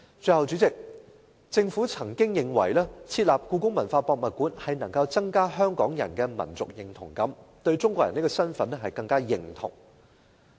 最後，主席，政府似乎認為設立故宮館能夠增加香港人的民族認同感，更認同"中國人"這個身份。